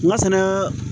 N ka sɛnɛ